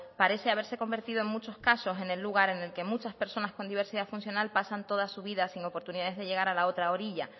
parece haberse convertido en muchos casos en el lugar en el que muchas personas con diversidad funcional pasan toda su vida sin oportunidades de llegar a la otra orilla